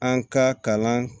An ka kalan